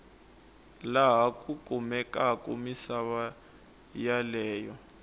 laha ku kumekaku misava yeleyo